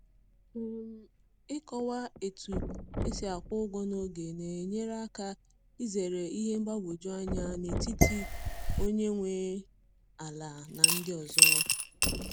um Ịkọwa otu esi akwụ ụgwọ n'oge na-enyere aka izere ihe mgbagwoju anya n’etiti onye nwe ala na ndị ọzọ